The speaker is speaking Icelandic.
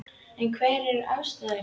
En hverjar eru ástæðurnar?